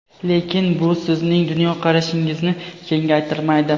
lekin bu sizning dunyoqarashingizni kengaytirmaydi.